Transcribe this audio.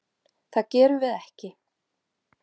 Það gerum við ekki.